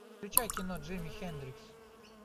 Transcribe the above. включай кино джими хендрикс